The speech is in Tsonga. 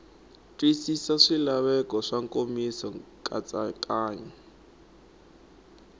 twisisi swilaveko swa nkomiso nkatsakanyo